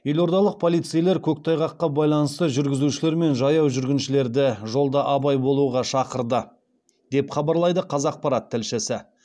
елордалық полицейлер көктайғаққа байланысты жүргізушілер мен жаяу жүргіншілерді жолда абай болуға шақырды деп хабарлайды қазақпарат тілшісі